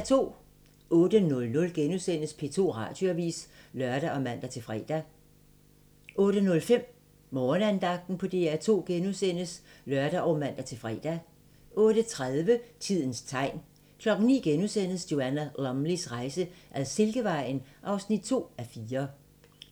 08:00: P2 Radioavis *(lør og man-fre) 08:05: Morgenandagten på DR2 *(lør og man-fre) 08:30: Tidens tegn 09:00: Joanna Lumleys rejse ad Silkevejen (2:4)*